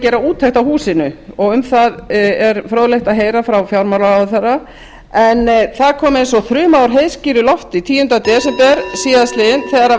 gera úttekt á húsinu um það er fróðlegt að heyra frá fjármálaráðherra en það kom eins og þruma úr heiðskíru lofti tíunda desember síðastliðnum þegar